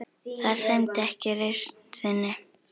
Það sæmdi ekki reisn þinni.